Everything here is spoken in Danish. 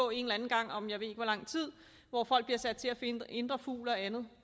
en eller anden gang om jeg ved ikke hvor lang tid hvor folk bliver sat til at finde indre fugl og andet